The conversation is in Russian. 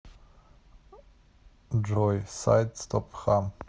джой сайт стопхам